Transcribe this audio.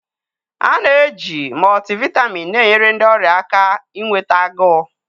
A na-eji multivitamin na-enyere ndị ọrịa aka inweta agụụ.